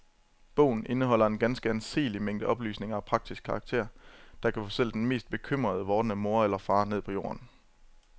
Bogen indeholder en ganske anseelig mængde oplysninger af praktisk karakter, der kan få selv den mest bekymrede vordende mor eller far ned på jorden.